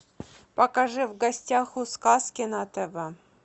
покажи в гостях у сказки на тв